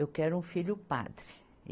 Eu quero um filho padre.